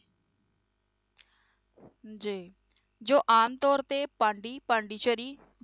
ਜੀ ਜੋ ਆਮ ਤੌਰ ਤੇ ਪਾਂਡੀ ਪਾਂਡੀਚਰੀ